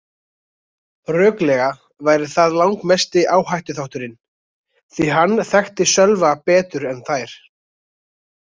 Röklega væri það langmesti áhættuþátturinn því að hann þekkti Sölva betur en þær.